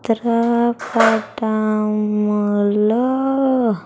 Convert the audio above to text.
చిత్ర పటం లో.